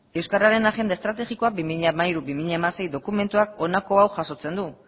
euskararen agenda estrategikoa bi mila hamairu bi mila hamasei dokumentuak honako hau jasotzen du